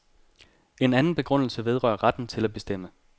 En anden begrundelse vedrører retten til at bestemme.